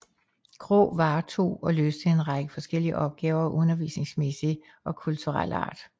Graae varetog og løste en række forskellige opgaver af undervisningsmæssig og kulturel art